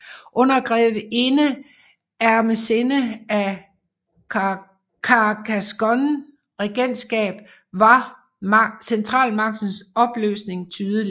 Under grevinde Ermesinde af Carcassonne regentskab var centralmagtens opløsning tydelig